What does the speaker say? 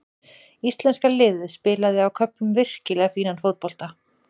Íslenska liðið spilaði á köflum virkilega fínan fótbolta.